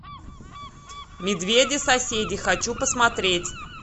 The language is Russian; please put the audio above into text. медведи соседи хочу посмотреть